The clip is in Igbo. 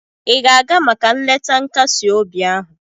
ị ga-aga maka nleta nkasi obi ahụ?